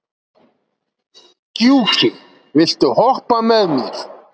Gjúki, viltu hoppa með mér?